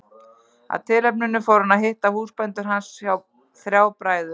Af tilefninu fór hann að hitta húsbændur hans, þrjá bræður.